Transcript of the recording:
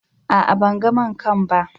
A'a, ban gan main kain ba.